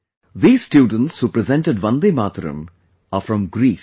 These students who presented Vande Mataram are from Greece